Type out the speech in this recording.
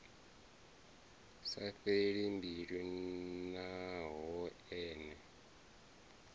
sa fheli mbilu naho ene